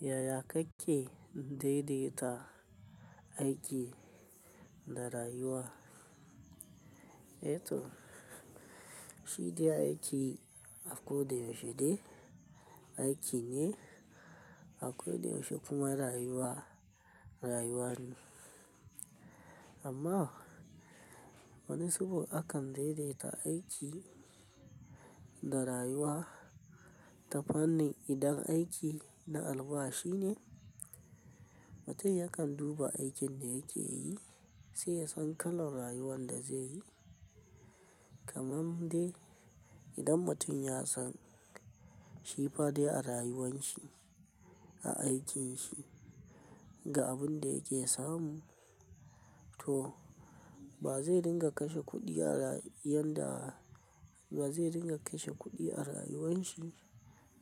Yaya kake daidaita aiki da rayuwa? To, shi dai aiki a koda yaushe dai aiki ne, a koda yaushe kuma rayuwa rayuwa ne. Amma wani zubin akan daidaita aiki da rayuwa ta fanni. Idan aiki na albashi ne, mutum yakan duba aikin da yake yi sai ya san kalan rayuwan da zai yi. Kaman dai idan mutum ya san shi fadai a rayuwan shi, a aikin shi ga abin da yake samu to ba zai dinga kashe kuɗi a yanda, ba zai dinga kashe kuɗi a rayuwan shi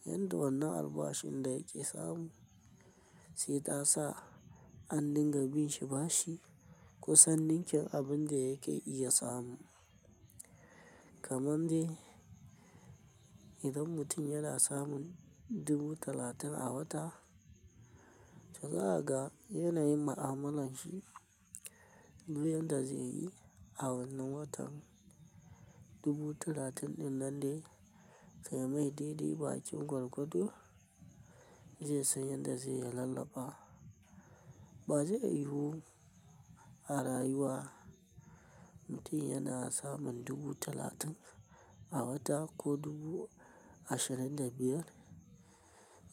yanda wannan albashin da yake samu sai ta sa an dinga bin shi bashi ko san ninkin abun da yake iya samu. Kaman dai idan mutum yana samun dubu talatin a wata, zaka ga yanayin ma'amalan shi duk yanda zai yi a wannan watan dubu talatin ɗin nan dai sai mai daidai bakin gwargwado zai san yanda zai lalaba. Ba zai yiwu a rayuwa mutum yana samun dubu talatin a wata ko dubu ashirin da biyar.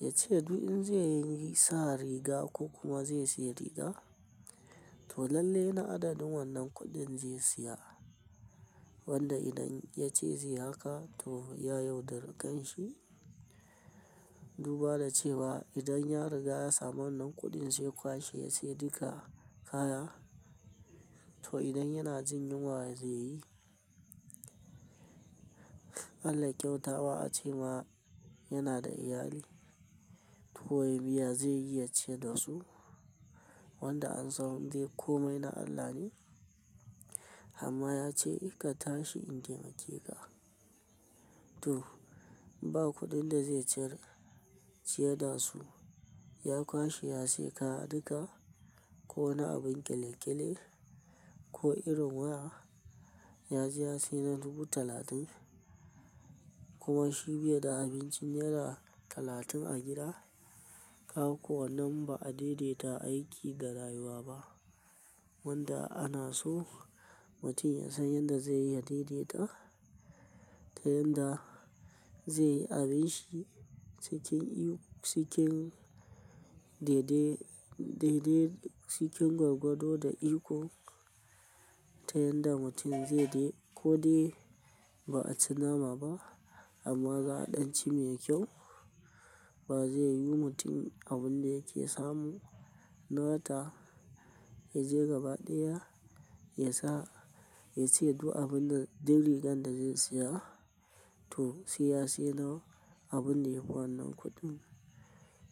Yace duk in zai sa riga ko kuma zai siya riga, to lalle na adadin wannan kuɗin zai siya. Wanda idan yace zai haka to ya yauɗari kan shi. Duba da cewa idan ya riga ya samu wannan kuɗin sai kwashe ya siya duka kaya. To idan yana jin yunwa zai yi. Allah ya kyauta wa ace ma yana da iyali to wai ni ya zai yi ya ciyar da su? Wanda an san dai komai na Allah ne. Amma yace "Ka tashi in taimake ka." To, ba kuɗin da zai ciyar da su, ya kwashe ya siya kaya duka ko wani abun ƙile ƙile ko irin waya. Ya je ya siya na dubu talatin kuma shi bai da abincin naira talatin a gida. Kaga ko wannan ba a daidaita aiki da rayuwa ba. Wanda ana so mutum ya san yanda zai iya daidaita ta yanda zai yi abin shi cikin daidai gwargwado da iko. Ta yanda mutum zai dai ko dai ba a ci nama ba amma za'a ɗan ci mai kyau. Ba zai yiwu mutum abun da yake samu na wata yaje gaba ɗaya ya sa, yace duk rigar da zai siya. To, sai ya siya na abunda yafi wannan kuɗin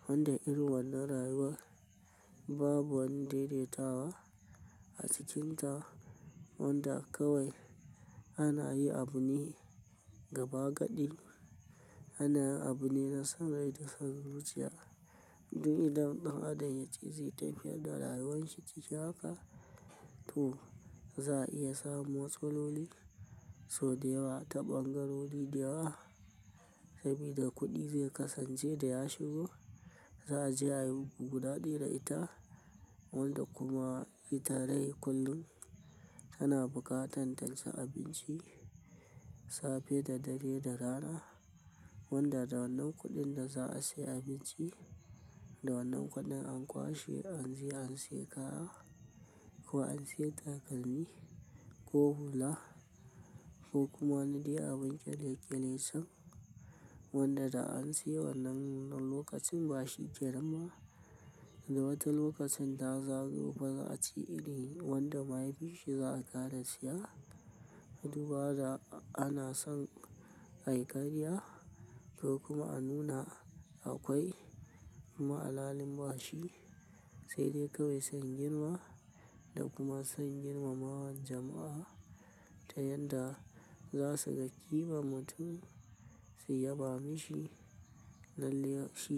wanda irin wannan rayuwa babu wani daidaitawa a cikinta. Wanda kawai ana yi abu ne gaba gaɗi, ana abu ne na san rai da zuciya. Duk idan ɗan adam yace zai tafiyar da rayuwan shi cikin haka, to za'a iya samu matsaloli sau da yawa ta ɓangarori da yawa. Sabida kuɗi zai kasance da ya shigo, za'a je ayi guda ɗaya da ita. Wanda kuma ita dai kullum tana buƙatan ta ci abinci safe da dare da rana. Wanda da wannan kuɗin da za'a siya abinci da wannan kuɗin an kwashe an je an siya kaya ko an siya takalmi ko hula ko kuma wani dai abun ƙile ƙile can. Wanda da an siya wannan lokacin bashi kenan ba, wata lokacin da zaro ba za'a ce irin wanda bayi bishi za'a ƙara siya. Duba da ana son ai karya ko kuma a nuna akwai kuma alhakin bashi sai dai kawai sun girma da kuma sun girmawar jama'a. Ta yanda za su ga ƙiman mutum su ya ba mishi lalle shi.